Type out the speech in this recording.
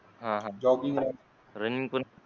हान हान रनिंग पण